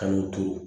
An y'o to